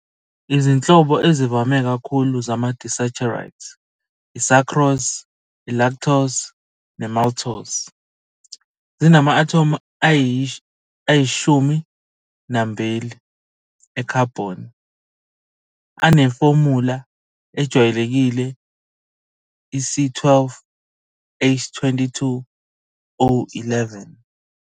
Izinhlobo ezivame kakhulu zama-disaccharides - i-sucrose, i-lactose, ne-maltose - zinama-athomu ayi-12 ekhabhoni, anefomula ejwayelekile C12H22O11.